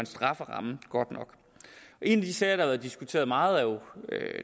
strafferammen godt nok en af de sager der er blevet diskuteret meget er jo